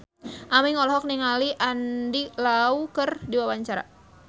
Aming olohok ningali Andy Lau keur diwawancara